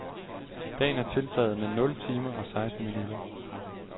Dagen er tiltaget med nul timer og seksten minutter.